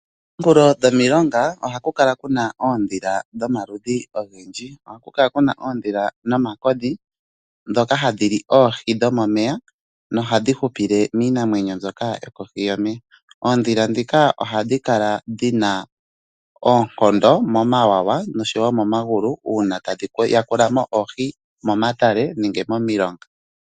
Kominkulo dhomilonga ohaku kala oondhila dhomaludhi ogendji. Ohaku kala kuna oondhila nomakodhi ndhoka hadhi li oohi dhomomeya nohadhi hupile miinamwenyo mbyoka yokohi yomeya. Oondhila ndhika ohadhi kala dhina oonkondo momawawa noshowo momagulu uuna tadhi yakula mo oohi momatale nenge momilonga.